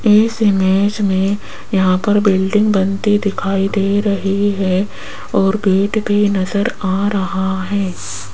इस इमेज में यहां पर बिल्डिंग बनती दिखाई दे रही है और गेट भी नजर आ रहा है।